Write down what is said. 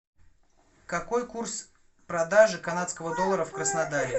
какой курс продажи канадского доллара в краснодаре